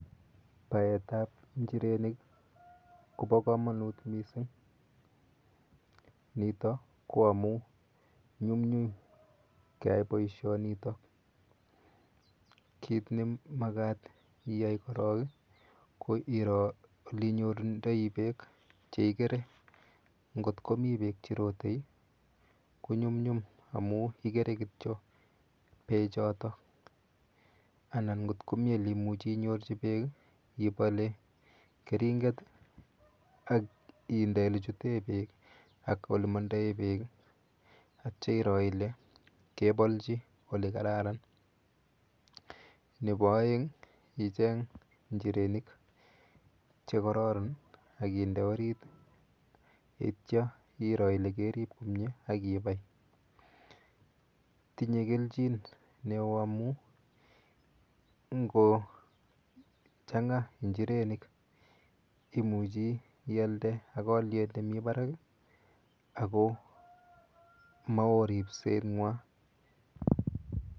Baetap injirenik kopo komonut mising, nito ko amu nyumnyum keyai boishonito. Kit nemakat iyai korok, ko iro olinyorundoi beek chikere ngot komi beek cherote konyumnyum amu ikere kityo beechoto anan nkot komi oleimuchi inyorchi beek ipole keringet ak inde olechute beek ak olemondoe beek atya iro ile kepolchi olekararan. Nepo oeng icheng injirenik chekororon akinde orit yeityo iker ile kerip komie akipai. Tinye kelchin neo amu ngochang'a injirenik imuchi ialde ak alyet nemi barak ako mao ripseng'wa.